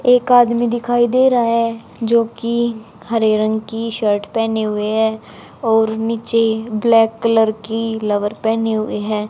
एक आदमी दिखाई दे रहा है जो कि हरे रंग की शर्ट पहने हुए है और नीचे ब्लैक कलर की लवर पहनी हुई है।